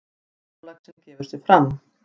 Stórlaxinn gefur sig fram.